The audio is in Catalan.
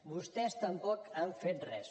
vostès tampoc han fet res